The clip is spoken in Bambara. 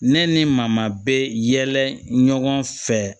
Ne ni maama bɛ yɛlɛ ɲɔgɔn fɛ